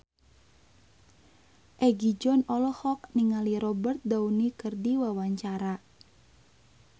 Egi John olohok ningali Robert Downey keur diwawancara